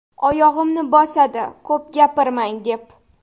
oyog‘imni bosadi ‘ko‘p gapirmang‘ deb.